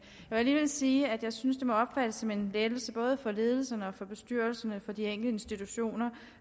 jeg alligevel sige at jeg synes det må opfattes som en lettelse både for ledelserne og for bestyrelserne for de enkelte institutioner